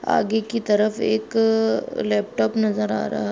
आगे कि तरफ एक-क लैपटॉप नज़र आ रहा --